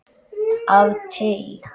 Af teig